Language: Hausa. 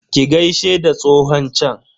Ki gaishe da tsohon chan?